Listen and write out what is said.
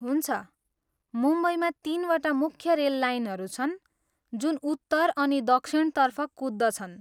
हुन्छ, मुम्बईमा तिनवटा मुख्य रेल लाइनहरू छन् जुन उत्तर अनि दक्षिणतर्फ कुद्छन्।